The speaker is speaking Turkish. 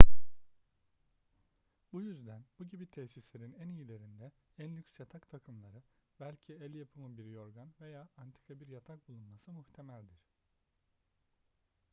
bu yüzden bu gibi tesislerin en iyilerinde en lüks yatak takımları belki el yapımı bir yorgan veya antika bir yatak bulunması muhtemeldir